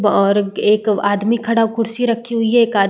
ब और एक एक आदमी खड़ा खुर्सी रक्खी हुई है एक आद --